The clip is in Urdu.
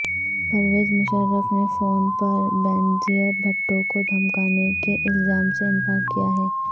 پرویز مشرف نے فون پر بینظیر بھٹو کو دھمکانے کے الزام سے انکار کیا ہے